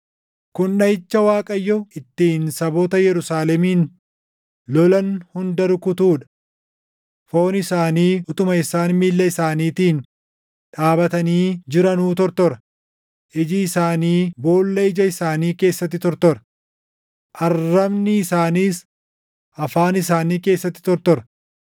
Kun dhaʼicha Waaqayyo ittiin saboota Yerusaalemin lolan hunda rukutuu dha: Foon isaanii utuma isaan miilla isaaniitiin dhaabatanii jiranuu tortora; iji isaanii boolla ija isaanii keessatti tortora; arrabni isaaniis afaan isaanii keessatti tortora.